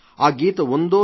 ఆ గీత ఉందో